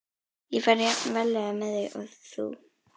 Ég fer jafn varlega með þau og þú.